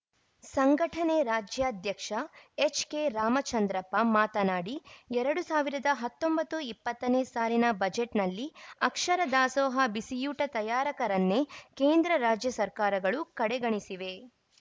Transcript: ಸಂಘಟನೆ ರಾಜ್ಯಾಧ್ಯಕ್ಷ ಎಚ್‌ಕೆರಾಮಚಂದ್ರಪ್ಪ ಮಾತನಾಡಿ ಎರಡು ಸಾವಿರದ ಹತ್ತೊಂಬತ್ತು ಇಪ್ಪತ್ತನೇ ಸಾಲಿನ ಬಜೆಟ್‌ನಲ್ಲಿ ಅಕ್ಷರ ದಾಸೋಹ ಬಿಸಿಯೂಟ ತಯಾರಕರನ್ನೇ ಕೇಂದ್ರ ರಾಜ್ಯ ಸರ್ಕಾರಗಳು ಕಡೆಗಣಿಸಿವೆ